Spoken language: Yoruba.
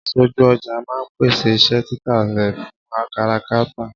Aṣojú ọjà máà ń pèsè iṣẹ́ tita rẹ fún káràkátà